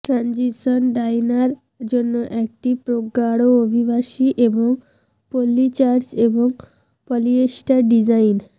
transition diner জন্য একটি প্রগাঢ় অভিবাসী এবং পল্লী চার্চ এবং পলিয়েস্টার ডিজাইন